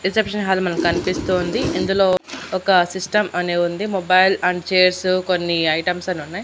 Reception hall మనకు కనిపిస్తూ ఉంది ఇందులో ఒక సిస్టం అనే ఉంది మొబైల్ అండ్ చైర్స్ కొన్ని ఐటమ్స్ అన్ ఉన్నాయి.